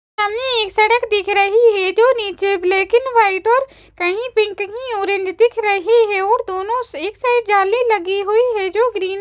सामने एक सड़क दिख रही हैं जो नीचे लेकिन व्हाइट और कही पिंक कही ऑरेंज दिख रही है और दोनों एक साइड जाली लगी हुई है जो ग्रीन --